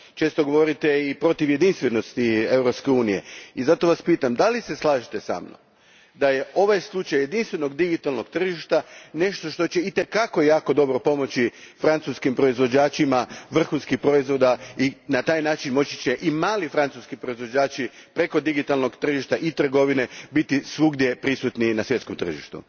Često govorite i protiv jedinstvenosti Europske unije i zato vas pitam da li se slažete sa mnom da je ovaj slučaj jedinstvenog digitalnog tržišta nešto što će itekako jako dobro pomoći francuskim proizvođačima vrhunskih proizvoda i na taj će način moći i mali francuski proizvođači preko digitalnog tržišta i trgovine biti svugdje prisutni i na svjetskom tržištu?